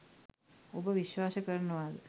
ඔබ විශ්වාස කරනවද?